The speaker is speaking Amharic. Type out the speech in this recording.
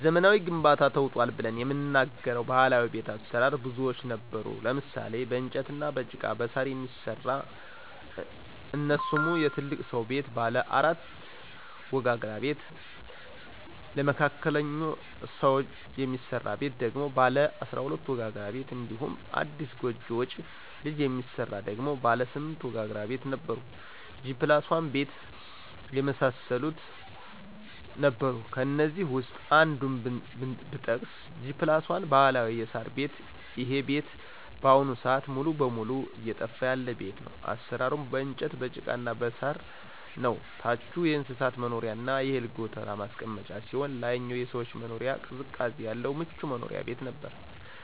በዘመናዊ ግንባታ ተውጧል ብለን የምንናገረው ባህላዊ ቤት አሰራር ብዙዎች ነበሩ ለምሳሌ :- በእንጨትና በጭቃ በሳር የሚሰራ እነሱሙ የትልቅ ስው ቤት ባለ 14 ወጋግራ ቤት ለመካከለኞ ሰው የሚስራ ቤት ደግሞ ባለ 12 ወጋግራ ቤት እንዲሁም አዲስ ጎጆ ወጭ ልጅ የሚሰራ ደግሞ ባለ 8 ወጋግራ ቤት ነበሩ G+1 ቤት የመሳሰሉት ነበሩ ከእነዚህ ውስጥ አንዱን ብጠቅስ G+1 ባህላዊ የሳር ቤት ይሄ ቤት በአሁኑ ስአት ሙሉ በሙሉ እየጠፋ ያለ ቤት ነው አሰራሩም በእንጨት በጭቃና በሳር ነው ታቹ የእንስሳት መኖሪያና የእህል ጎተራ ማስቀመጫ ሲሆን ላይኛው የሰዎች መኖሪያ ቅዝቃዜ ያለው ምቹ መኖሪያ ቤት ነበር።